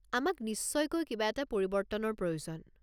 আমাক নিশ্চয়কৈ কিবা এটা পৰিৱৰ্তনৰ প্ৰয়োজন।